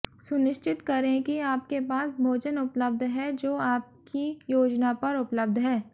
सुनिश्चित करें कि आपके पास भोजन उपलब्ध है जो आपकी योजना पर उपलब्ध है